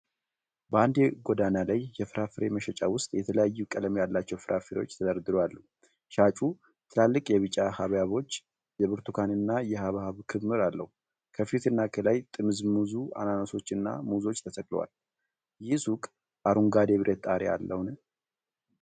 በአንድ የጎዳና ላይ የፍራፍሬ መሸጫ ውስጥ የተለያየ ቀለም ያላቸው ፍራፍሬዎች ተደርድረው አሉ። ሻጩ ትላልቅ የቢጫ ሐብሐቦች፣ የብርቱካንና የሐብሐብ ክምር አለው። ከፊትና ከላይ ጥምዝሙዝ አናናሶችና ሙዞች ተሰቅለዋል። ይህ ሱቅ አረንጓዴ የብረት ጣሪያ አለውን?